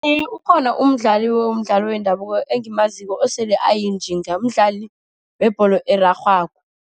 Iye, ukhona umdlali womdlalo wendabuko engimaziko, osele ayinjinga. Mdlali webholo erarhwako.